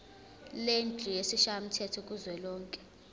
lendlu yesishayamthetho kuzwelonke